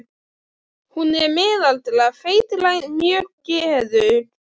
Hún er miðaldra, feitlagin, mjög geðug.